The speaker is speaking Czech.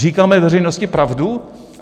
Říkáme veřejnosti pravdu?